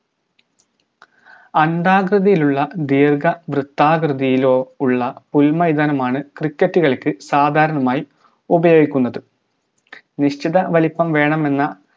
അണ്ഡാകൃതിയിലുള്ള ദീർഘ വൃത്താകൃതിയിലോ ഉള്ള പുൽമൈതാനമാണ് cricket കളിക്ക് സാധാരണമായി ഉപയോഗിക്കുന്നത് നിശ്ചിതവലിപ്പം വേണമെന്ന